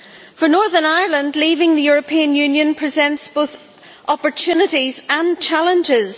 For Northern Ireland, leaving the European Union presents both opportunities and challenges.